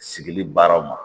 Sigili baaraw ma